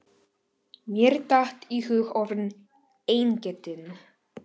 Mér datt í hug orðið eingetinn.